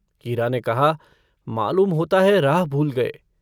हीरा ने कहा - मालूम होता है, राह भूल गये।